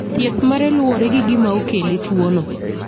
Thieth mare luwore gi gima okele tuono.